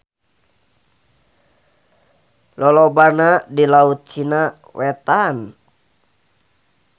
Lolobana di Laut Cina Wetan.